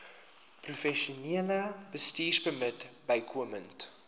professionele bestuurpermit bykomend